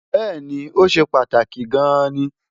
bẹ́ẹ̀̀ni, ó ṣe pàtàkì gan-an ni